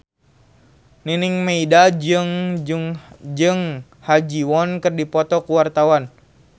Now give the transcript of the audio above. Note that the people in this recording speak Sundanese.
Nining Meida jeung Ha Ji Won keur dipoto ku wartawan